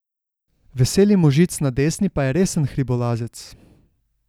Veseli možic na desni pa je resen hribolazec.